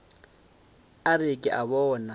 a re ke a bona